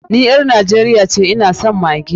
Ni ƴar Najeriya ce, ina son maggi.